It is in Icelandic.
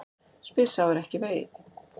Spyr sá er ekki sér.